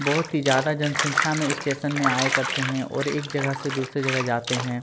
बहुत ही ज्यादा जनसंख्या में स्टेशन में आए करते हैं और एक जगह से दूसरी जगह जाते हैं।